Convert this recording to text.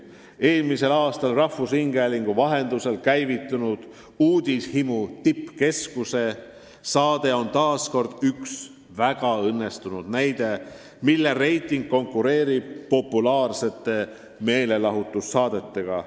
Eelmisel aastal rahvusringhäälingu vahendusel käivitunud saade "Uudishimu tippkeskus" on väga õnnestunud näide – selle reiting konkureerib populaarsete meelelahutussaadete omaga.